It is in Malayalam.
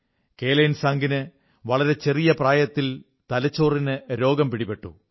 കേലൻസാംഗിന് വളരെ ചെറിയ പ്രായത്തിൽ തലച്ചോറിന് രോഗം പിടിപെട്ടു